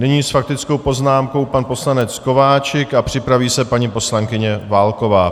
Nyní s faktickou poznámkou pan poslanec Kováčik a připraví se paní poslankyně Válková.